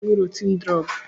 Ị ga-aṅụ rotin drọọgụ!